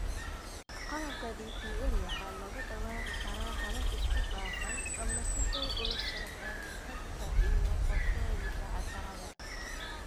Qalabka DPL waxaa lagu dabaqi karaa habab isku dhafan, ama si dhow ula socda manhajka iyo qorshooyinka casharrada.